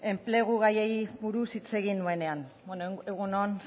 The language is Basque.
enplegu gaiari buruz hitz egin nuenean egun on